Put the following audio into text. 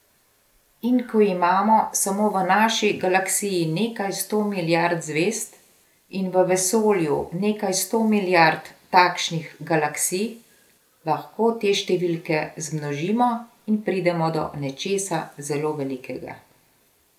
In ko imamo samo v naši galaksiji nekaj sto milijard zved, in v vesolju nekaj sto milijard takšnih galaksij, lahko te številke zmnožimo in pridemo do nečesa zelo velikega.